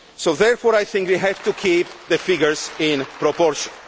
Therefore I think we have to keep the figures in proportion.